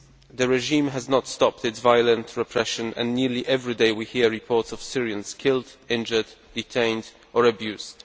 The regime has not stopped its violent repression and nearly every day we hear reports of Syrians being killed, injured, detained or abused.